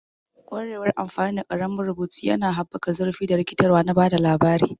Ƙwarewar amfani da ƙaramin rubutu yana haɓaka zurfi da rikitarwa na ba da labari.